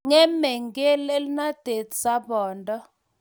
Ng'emei ngelelnatet sabondo.